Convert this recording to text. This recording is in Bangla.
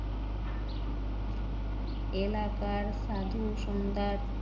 এলাকার সাধু সন্ধ্যার